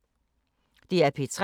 DR P3